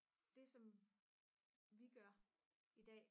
det som vi gør i dag